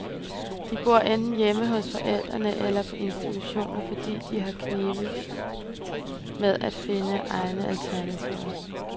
De bor enten hjemme hos forældrene eller på institution, fordi det har knebet med at finde egnede alternativer.